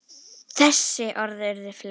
Þessi orð urðu fleyg.